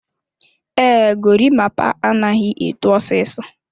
Ee, gorimapa anaghị eto osisi.